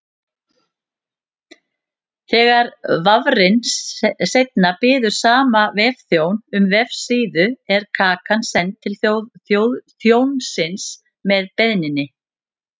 Þegar vafrinn seinna biður sama vefþjón um vefsíðu er kakan send til þjónsins með beiðninni.